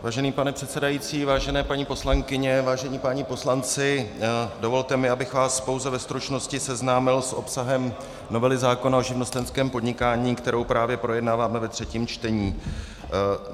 Vážený pane předsedající, vážené paní poslankyně, vážení páni poslanci, dovolte mi, abych vás pouze ve stručnosti seznámil s obsahem novely zákona o živnostenském podnikání, kterou právě projednáváme ve třetím čtení.